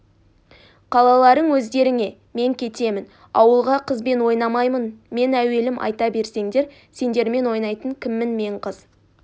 қалаларың өздеріңе мен кетемін ауылға қызбен ойнамаймын мен әуелім айта берсеңдер сендермен ойнайтын кіммін мен қыз